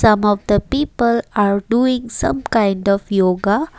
Some of the people are doing some kind of yoga.